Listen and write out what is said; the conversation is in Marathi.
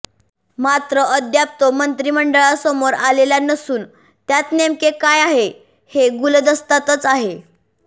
मात्र अद्याप तो मंत्रिमंडळासमोर आलेला नसून त्यात नेमके काय आहे हे गुलदस्त्यातच आहे